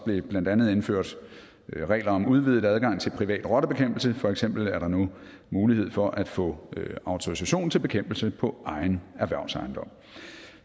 der blandt andet indført regler om udvidet adgang til privat rottebekæmpelse for eksempel er der nu mulighed for at få autorisation til bekæmpelse på egen erhvervsejendom